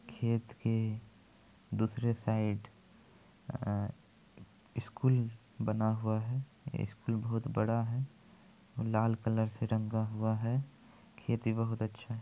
खेत के दूसरे साइड अह स्कूल बना हुआ है स्कूल बहुत बड़ा है लाल कलर से रंगा हुआ है खेत भी बहुत अच्छा है।